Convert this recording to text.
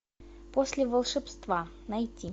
после волшебства найти